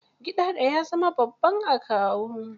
Gidado ya zama babban akawu.